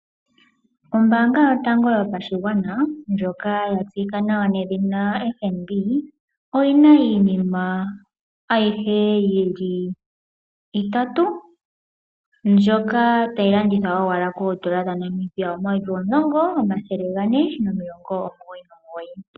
Ombaanga yotango yopashigwana ndjoka ya tseyika nawa nedhina FNB. Oyina iinima ayihe yili itatu mbyoka tayi landithwa owala koodola dhaNamibia omayovi omulongo, omathele gane nomilongo omugoyi nomugoyi.